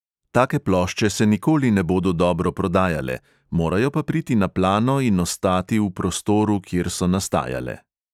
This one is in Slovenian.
Take plošče se nikoli ne bodo dobro prodajale, morajo pa priti na plano in ostati v prostoru, kjer so nastajale.